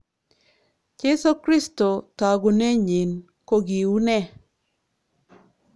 Jeiso kristo togunenyin kokiunee?